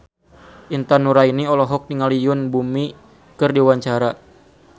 Intan Nuraini olohok ningali Yoon Bomi keur diwawancara